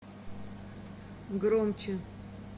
громче